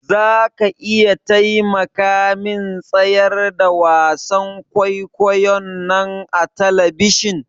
Zaka iya taimakamin tsayar da wasan kwaikwayon nan a tabishin?